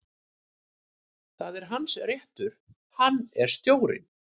Það er hans réttur, hann er stjórinn.